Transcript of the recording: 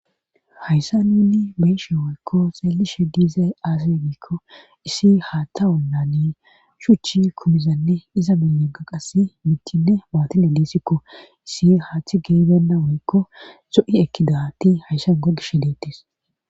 hayssa nunni beeshe woykko xeellishe diizay aasire giikko issi haatthawonlani shuchi kumizanne iza milnegaqasi mittinne maotine diisikko issi haaththi geebenna woykko so7i ekkidati hayssan gogishshi deettis